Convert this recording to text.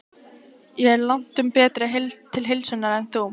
Ég er langtum betri til heilsunnar en þú.